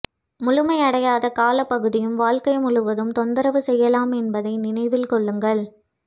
முழுமையடையாத காலப்பகுதியும் வாழ்க்கை முழுவதும் தொந்தரவு செய்யலாம் என்பதை நினைவில் கொள்ளுங்கள்